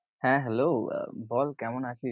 হ্যাঁ Hello বল কেমন আছিস?